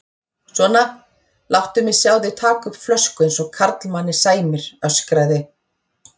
Svona, láttu mig sjá þig taka upp flösku eins og karlmanni sæmir öskraði